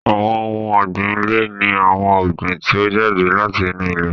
Àwọn ohun ọ̀gbìn ilẹ̀ ni àwọn ọ̀gbìn tí ó jáde láti inú ilẹ̀